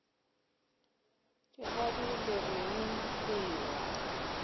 dikgadi le reng le ewa